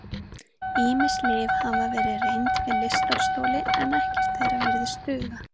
Ýmis lyf hafa verið reynd við lystarstoli en ekkert þeirra virðist duga.